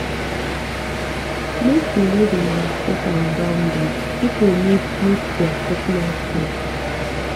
make we no dey overstep our boundary pipo need need their personal space